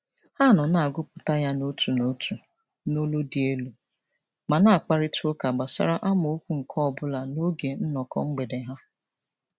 Ha nọ na-agụpụta ya n'otu n'otu n'olu dị elu ma na-akparịtaụka gbasara amaokwu nke ọbụla n'oge nnọkọ mgbede ha.